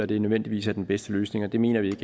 det nødvendigvis er den bedste løsning det mener vi